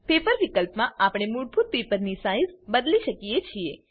paper વિકલ્પ માં આપણે મૂળભૂત પેપરની સાઈઝ બદલી શકીએ છીએ